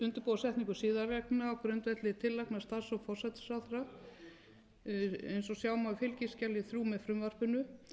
og fjármálaráðherra undirbúa setningu siðareglna á grundvelli tillagna starfshóps forsætisráðherra eins og sjá má á fskj þrjú með frumvarpinu